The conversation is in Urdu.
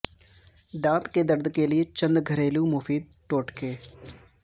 دانت کے درد کے لیے چند گھریلو مفید ٹوٹکے